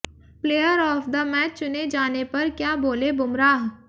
player of the match चुने जाने पर क्या बोले बुमराह